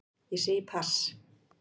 Ég segi pass.